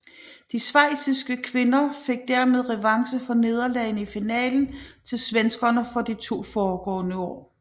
De schweiziske kvinder fik dermed revanche for nederlagene i finalen til svenskerne de to foregående år